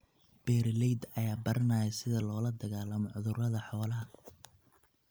Beeralayda ayaa baranaya sida loola dagaalamo cudurrada xoolaha.